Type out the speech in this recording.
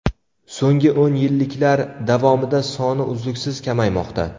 So‘nggi o‘n yilliklar davomida soni uzluksiz kamaymoqda.